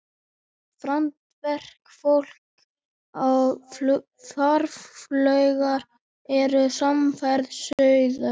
Farandverkafólk og farfuglar eru samferða suður.